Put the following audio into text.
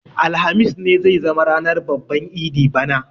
Alhamis ne zai zama ranar babban idi bana.